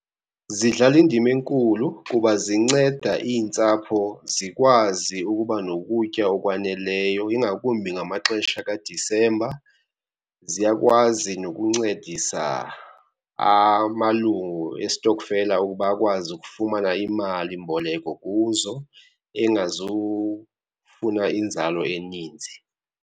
Zidlala indima enkulu kuba zinceda iintsapho zikwazi ukuba nokutya okwaneleyo, ingakumbi ngamaxesha kaDisemba. Zziyakwazi nokuncedisa amalungu estokfela ukuba akwazi ukufumana imalimboleko kuzo engazufuna inzalo eninzi.